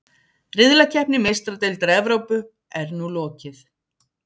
Riðlakeppni Meistaradeildar Evrópu er nú lokið.